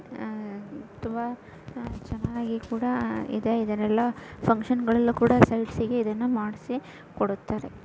ಅಹ್ ತುಂಬಾ ಅಹ್ ಚನ್ನಾಗಿ ಕೂಡಾ ಇದೆ ಇದ್ರೆಲ್ಲಾ ಫುನ್ಕ್ಷನ್ ಗಳಲ್ಲಿ ಕೂಡಾ ಸೈಡ್ಸ್ ಇಗೆ ಕೂಡಾ ಇದನ್ನಾ ಮಾಡ್ಸಿ ಕೊಡುತ್ತಾರೆ.